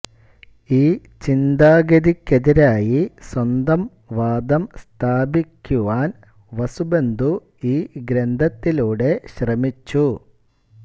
ഈ ചിന്താഗതിക്കെതിരായി സ്വന്തം വാദം സ്ഥാപിക്കുവാൻ വസുബന്ധു ഈ ഗ്രന്ഥത്തിലൂടെ ശ്രമിച്ചു